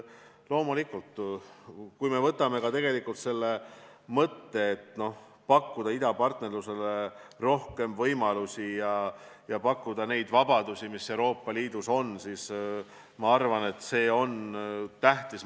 Loomulikult, see mõte, et pakkuda idapartnerlusele rohkem võimalusi ja pakkuda neid vabadusi, mis on Euroopa Liidus, on, ma arvan, tähtis.